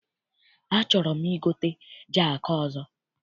Achọrọ m igote jaakị ọzọ.